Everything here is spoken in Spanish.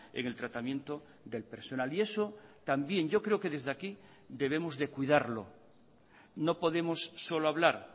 en el tratamiento del personal y eso también yo creo que desde aquí debemos de cuidarlo no podemos solo hablar